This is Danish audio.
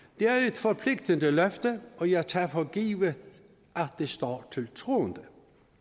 forpligtende løfte og jeg tager for givet at det står til troende